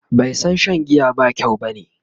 bai San Shan giya ba kyau bane?